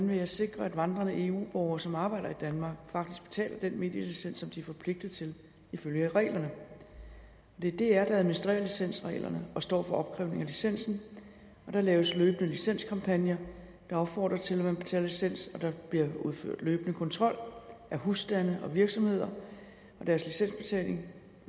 vil sikre at vandrende eu borgere som arbejder i danmark faktisk betaler den medielicens som de er forpligtet til ifølge reglerne det er dr der administrerer licensreglerne og står for opkrævning af licensen og der laves løbende licenskampagner der opfordrer til at man betaler licens og der bliver udført løbende kontrol af husstande og virksomheder og deres licensbetaling